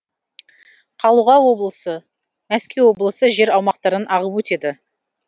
қалуға облысы мәскеу облысы жер аумақтарын ағып өтеді